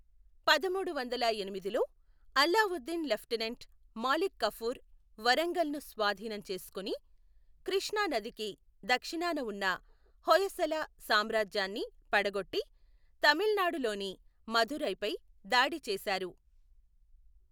పదమూడు వందల ఎనిమిదిలో, అల్లావుద్దీన్ లెఫ్టినెంట్ మాలిక్ కఫూర్ వరంగల్ ను స్వాధీనం చేసుకుని, కృష్ణ నదికి దక్షిణాన ఉన్న హొయసల సామ్రాజ్యాన్ని పడగొట్టి, తమిళనాడులోని మదురైపై దాడి చేశారు.